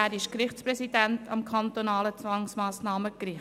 Er ist Gerichtspräsident am kantonalen Zwangsmassnahmengericht.